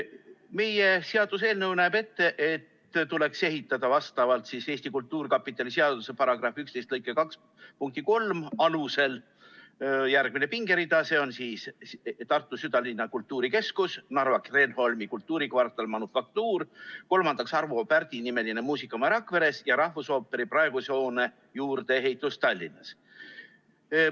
Meie seaduseelnõu näeb Eesti Kultuurkapitali seaduse § 11 lõike 2 punkti 3 alusel ehitamiseks ette järgmise pingerea: Tartu südalinna kultuurikeskus, Narva Kreenholmi kultuurikvartal Manufaktuur, Arvo Pärdi nimeline muusikamaja Rakveres ja rahvusooperi praeguse hoone juurdeehitus Tallinnas.